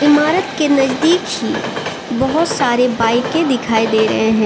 इमारत के नजदीक ही बहोत सारे बाइके दिखाई दे रहे हैं।